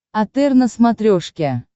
отр на смотрешке